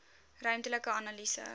ruimtelike analise